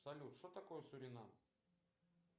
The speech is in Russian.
салют что такое суринам